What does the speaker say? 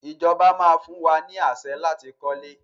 Ìjọba máa fún wa ni àṣẹ láti kọ́lé.